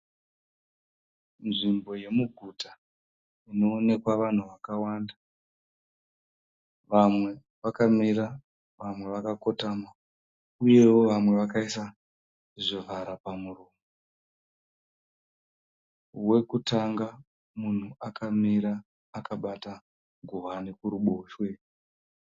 Nzvimbo yemuguta inoonekwa vanhu vakawanda. Vamwe vakamira, vamwe vakakotama uyewo vamwe vakaisa zvivara pamuromo. Wekutanga munhu akamira akabata ngowani kuruboshwe.